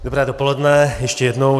Dobré dopoledne ještě jednou.